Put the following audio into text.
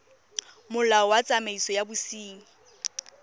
molao wa tsamaiso ya bosenyi